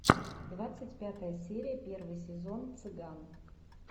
двадцать пятая серия первый сезон цыган